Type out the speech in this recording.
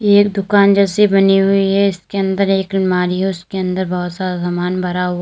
ये दुकान जैसी बनी हुई है इसके अंदर एक अलमारी और उसके अंदर बहोत सा सामान भरा हुआ--